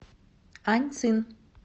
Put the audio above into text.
аньцин